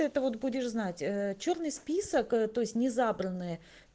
это вот будешь знать э чёрный список то есть не забранный